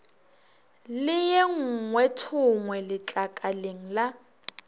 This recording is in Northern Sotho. le ye nngweethongwe letlakaleng la